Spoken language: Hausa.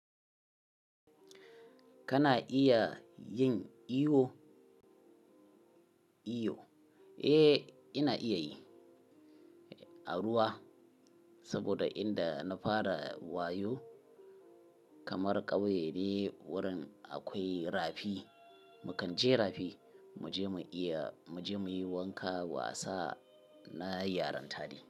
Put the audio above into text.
Kana iya yin iyo? Iyo. Eh, ina iya yi. A ruwa saboda inda na fara wayo kamar ƙauye ne wurin akwai rafi. Mu kan je rafi, mu je mu iya, mu je muyi wanka, wasa na yaran tare.